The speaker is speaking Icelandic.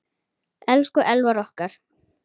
Elsku Elvar okkar.